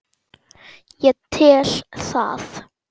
Ég tel það.